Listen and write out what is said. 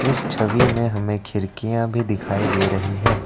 इस छवि में हमें खिड़कियां भी दिखाई दे रही है।